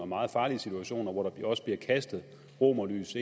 meget farlige situationer hvor der også bliver kastet romerlys